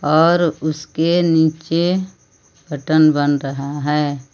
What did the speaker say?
और उसके नीचे मटन बन रहा है।